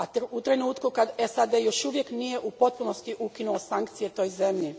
u trenutku kad SAD još uvijek nije u potpunosti ukinuo sankcije toj zemlji.